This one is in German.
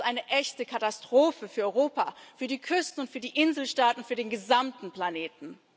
Das ist eine echte Katastrophe für Europa, für die Küsten und für die Inselstaaten, für den gesamten Planeten.